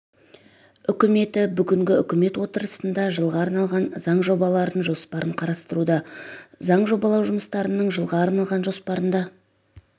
үкіметі бүгінгі үкімет отырысында жылға арналған заң жобалары жоспарын қарастыруда заң жобалау жұмыстарының жылға арналған жоспарында